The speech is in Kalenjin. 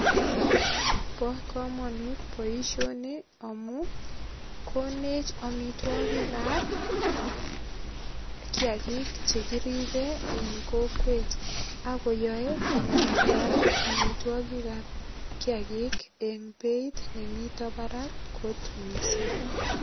Bo kamanut boisioni amu konech amitwogik ab kiagik che kiribe en kokwet ak koyoe komakial amitwogik ab kiagik eng beit ne mito barak kot mising.